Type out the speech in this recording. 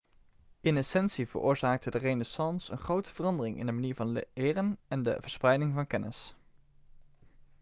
in essentie veroorzaakte de renaissance een grote verandering in de manier van leren en de verspreiding van kennis